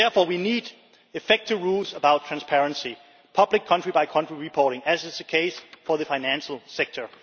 Therefore we need effective rules about transparency and public country by country reporting, as is the case for the financial sector.